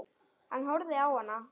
Hann horfði á hana.